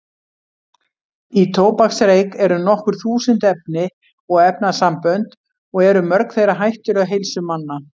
Í tóbaksreyk eru nokkur þúsund efni og efnasambönd og eru mörg þeirra hættuleg heilsu manna.